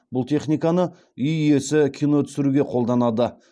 бұл техниканы үй иесі кино түсіруге қолданады